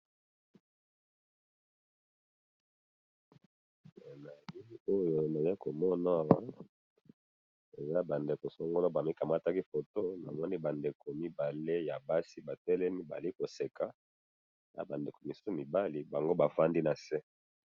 Na photo oyo na moni Ba ndeko mibale ya basi batelemi bazo seka, na mibali ba fandi.